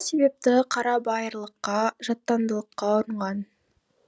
себепті қарабайырлыққа жаттандылыққа ұрынған